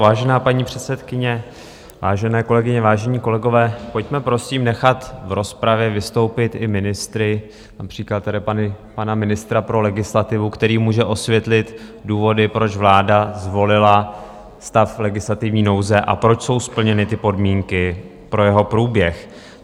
Vážená paní předsedkyně, vážené kolegyně, vážení kolegové, pojďme prosím nechat v rozpravě vystoupit i ministry, například tady pana ministra pro legislativu, který může osvětlit důvody, proč vláda zvolila stav legislativní nouze a proč jsou splněny ty podmínky pro jeho průběh.